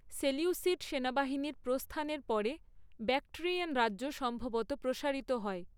Seleucid সেনাবাহিনীর প্রস্থানের পরে ব্যাক্ট্রিয়ান রাজ্য সম্ভবত প্রসারিত হয়।